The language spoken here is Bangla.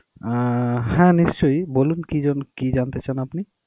আহ হ্যাঁ, নিশ্চয়ই. বলুন কি জন~ কি জানতে চান আপনি?